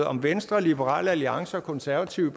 om venstre liberal alliance og konservative